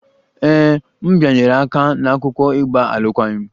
Ee, m bịanyere aka n'akwụkwọ ịgba alụkwaghịm